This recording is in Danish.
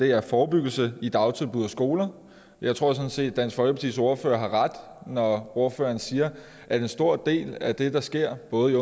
er forebyggelse i dagtilbud og skoler jeg tror sådan set at dansk folkepartis ordfører har ret når ordføreren siger at en stor del af det der sker både